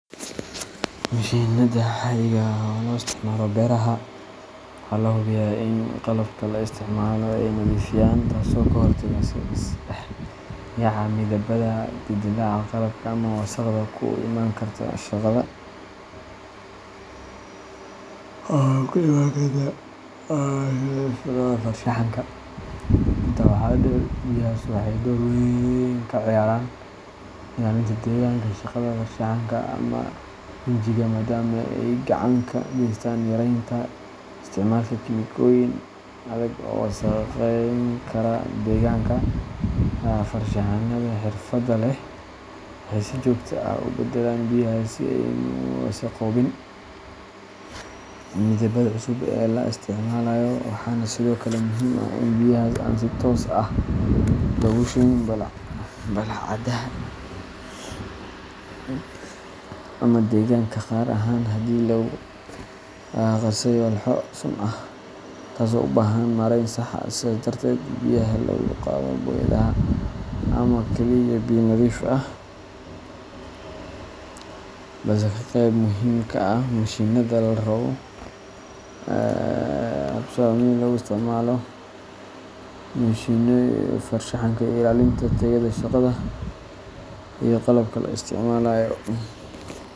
Mashinada caadiga ah oo lo isticmalo beeraha , waxaa la hubiyaa in qalabka la isticmaalo ay nadiif yihiin, taasoo ka hortagta is dhex yaaca midabbada, dildilaaca qalabka, ama wasakhda ku iman karta shaqada farshaxanka. Intaa waxaa dheer, biyahaas waxay door weyn ka ciyaaraan ilaalinta deegaanka shaqada farshaxanka ama rinjiga, maadaama ay gacan ka geystaan yaraynta isticmaalka kiimikooyin adag oo wasakhayn kara deegaanka. Farshaxan-yahannada xirfadda leh waxay si joogto ah u beddelaan biyahaas si aysan u wasakhoobin midabbada cusub ee la isticmaalayo, waxaana sidoo kale muhiim ah in biyahaas aan si toos ah loogu shubin bullaacadaha ama deegaanka, gaar ahaan haddii lagu qasay walxo sun ah, taas oo u baahan maarayn sax ah. Sidaas darteed, biyaha lagu qado boyadaha ma aha oo keliya biyo nadiifin ah balse waa qayb muhiim ah oo ka mid ah habsami u socodka shaqada farshaxanka iyo ilaalinta tayada shaqada iyo qalabka la isticmaalayo.